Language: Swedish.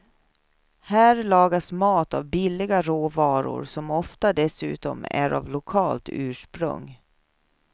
Här lagas mat av billiga råvaror som ofta dessutom är av lokalt ursprung.